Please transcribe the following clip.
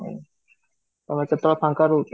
ତମେ କେତେ ବେଳେ ଫାଙ୍କା ରହୁଛ?